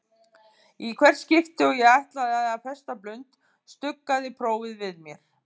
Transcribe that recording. Í hvert skipti og ég ætlaði að festa blund stuggaði prófið við mér.